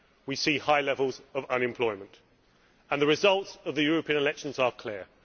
We see high levels of unemployment, and the results of the European elections are clear.